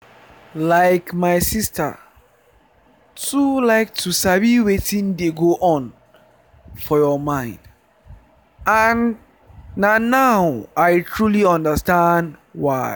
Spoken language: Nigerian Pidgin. like my sister too like to sabi wetin dey go on for your mind and na now i trully understand why.